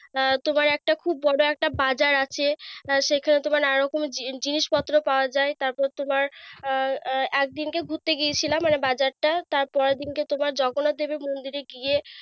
আহ তোমার একটা খুব বড় একটা বাজার আছে। আহ সেখানে তোমার নানা রকম জিনিসপত্র পাওয়া যায়। তারপর তোমার আহ আহ একদিনকে ঘুরতে গিয়েছিলাম মানে বাজারটা। তারপর তোমার জগন্নাথ দেবের মন্দিরে গিয়ে,